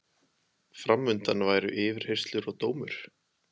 Fram undan væru yfirheyrslur og dómur.